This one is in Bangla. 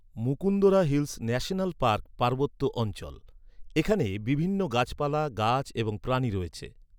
মুকুন্দরা হিলস ন্যাশনাল পার্ক পার্বত্য অঞ্চল। এখানে বিভিন্ন গাছপালা, গাছ এবং প্রাণী রয়েছে।